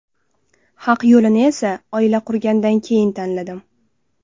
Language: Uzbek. Haq yo‘lini esa oila qurgandan keyin tanladim.